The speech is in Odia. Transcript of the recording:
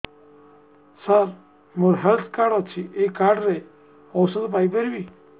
ସାର ମୋର ହେଲ୍ଥ କାର୍ଡ ଅଛି ଏହି କାର୍ଡ ରେ ଔଷଧ ପାଇପାରିବି